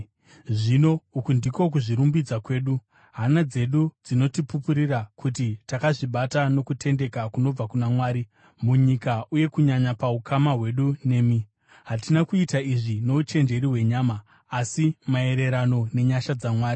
Zvino uku ndiko kuzvirumbidza kwedu: Hana dzedu dzinotipupurira: kuti takazvibata nokutendeka kunobva kuna Mwari, munyika uye kunyanya paukama hwedu nemi. Hatina kuita izvi nouchenjeri hwenyama, asi maererano nenyasha dzaMwari.